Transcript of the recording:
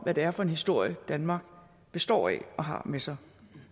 hvad det er for en historie danmark består af og har med sig